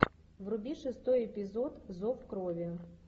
вруби шестой эпизод зов крови